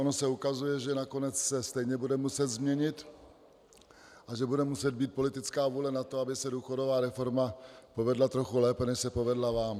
Ono se ukazuje, že nakonec se stejně bude muset změnit a že bude muset být politická vůle na to, aby se důchodová reforma povedla trochu lépe, než se povedla vám.